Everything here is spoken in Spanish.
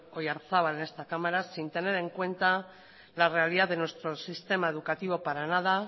oyarzabal en esta cámara sin tener en cuenta la realidad de nuestro sistema educativo para nada